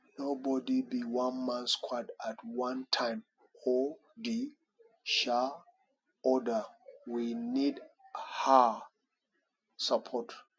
nobody be one man squad at one time or di um other we need um support